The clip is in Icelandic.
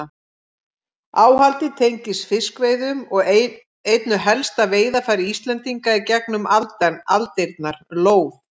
Áhaldið tengist fiskveiðum og einu helsta veiðarfæri Íslendinga í gegnum aldirnar, lóð.